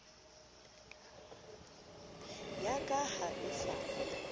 ya ka ha e sa